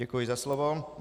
Děkuji za slovo.